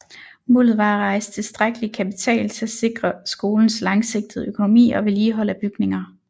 Målet var at rejse tilstrækkelig kapital til at sikre skolens langsigtede økonomi og vedligehold af bygninger